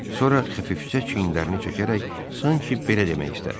Sonra xəfifcə çiyinlərini çəkərək sanki belə demək istədi: